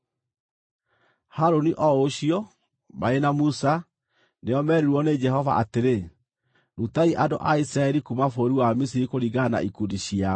Harũni o ũcio, marĩ na Musa, nĩo meerirwo nĩ Jehova atĩrĩ, “Rutai andũ a Isiraeli kuuma bũrũri wa Misiri kũringana na ikundi ciao.”